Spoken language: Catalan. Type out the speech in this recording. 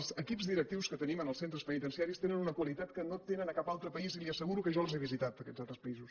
els equips directius que tenim en els centres penitenciaris tenen una qualitat que no tenen a cap altre país i li asseguro que jo els he visitat aquests altres països